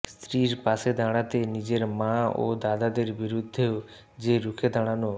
স্ত্রীর পাশে দাঁড়াতে নিজের মা ও দাদাদের বিরুদ্ধেও যে রুখে দাঁড়ানো